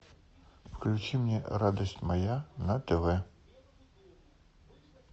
включи мне радость моя на тв